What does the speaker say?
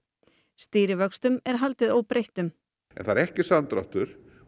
stýrivöxtum er haldið óbreyttum en það er ekki samdráttur